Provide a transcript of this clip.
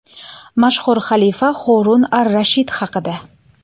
Mashhur xalifa Horun ar-Rashid haqida.